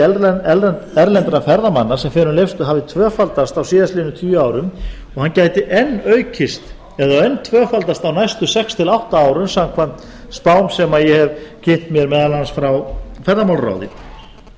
nærri að fjöldi erlendra ferðamanna sem fer um leifsstöð hafi tvöfaldast á síðastliðnum tíu árum og hann gæti enn aukist eða enn tvöfaldast á næstu sex til átta árum samkvæmt spám sem ég hef kynnt mér meðal annars frá ferðamálaráði